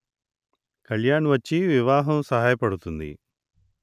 కళ్యాణ్ వచ్చి వివాహం సహాయపడుతుంది